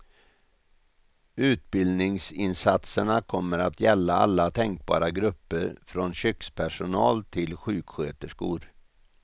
Utbildningsinsatserna kommer att gälla alla tänkbara grupper från kökspersonal till sjuksköterskor.